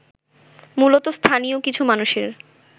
মূলত স্থানীয় কিছু মানুষের